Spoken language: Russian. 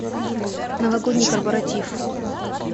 новогодний корпоратив